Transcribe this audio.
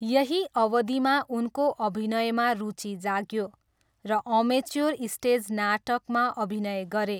यही अवधिमा उनको अभिनयमा रुचि जाग्यो र अमेच्योर स्टेज नाटकमा अभिनय गरे।